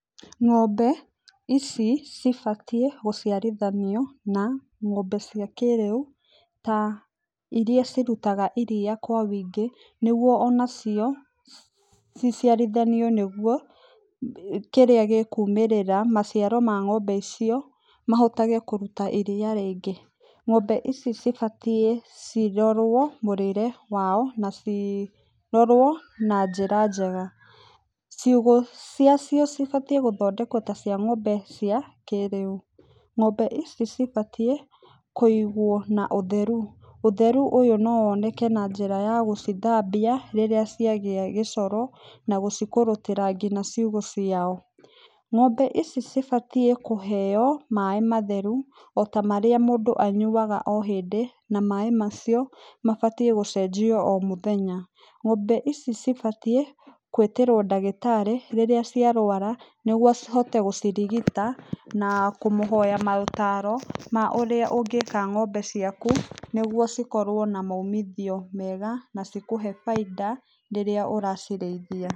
Ng'ombe ici cibatiĩ gũciarithanio na ng'ombe cia kĩrĩu, ta iria cirutaga iria kwa wĩingĩ, nĩguo onacio ciciarithanio nĩguo kĩrĩa gĩkumĩrĩra, maciaro ma ng'ombe icio, mahotage kũruta iria rĩingĩ. Ng'ombe ici cibatiĩ cirorwo mũrĩre wao, na cirorwo na njĩra njega. Ciugũ ciacio cibatiĩ gũthondekwo ta cia ng'ombe cia kĩrĩu. Ng'ombe ici cibatiĩ kũigwo na ũtheru. Ũtheru ũyũ no woneke na njĩra ya gũcithambia rĩrĩa ciagĩa gĩcoro, na gũcikũrũtĩra nginya ciugũ ciao. Ng'ombe ici cibatiĩ kũheo maĩ matheru, ota marĩa mũndũ anyuaga o hĩndĩ, na maĩ macio, mabatiĩ gũcenjio o mũthenya. Ng'ombe ici cibatiĩ, gwĩtĩrwo ndagĩtarĩ, rĩrĩa ciarwara, nĩguo acihote gũcirigita, na kũmũhoya maũtaaro ma ũrĩa ũngĩka ng'ombe ciaku nĩguo cikorwo na maumithio mega na cikũhe bainda rĩrĩa ũracirĩithia.